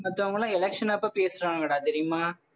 மத்தவங்கெல்லாம் election அப்ப பேசறாங்கடா தெரியுமா